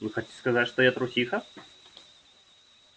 вы хотите сказать что я трусиха